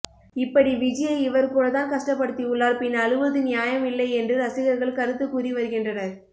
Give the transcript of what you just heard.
இப்படி விஜியை இவர் கூட தான் கஷ்டப்படுத்தியுள்ளார் பின் அழுவது நியாயம் இல்லை என்று ரசிகர்கள் கருத்து கூறி வருகின்றனர்